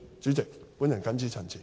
主席，我謹此陳辭。